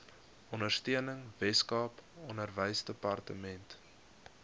ondersteuning weskaap onderwysdepartement